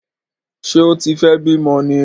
Ṣé ó tí fẹ́ bímọ ní!